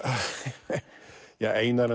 við Einar